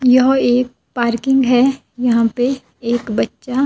यहां एक पार्किंग है यहां पे एक बच्चा--